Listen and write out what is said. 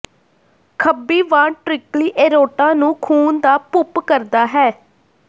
ਖੱਬੀ ventricle aorta ਨੂੰ ਖੂਨ ਦਾ ਪੁੰਪ ਕਰਦਾ ਹੈ